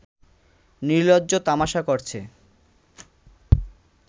নিলর্জ্জ তামাশা করছে